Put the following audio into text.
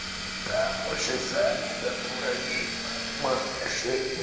там уже занято твоей мамашей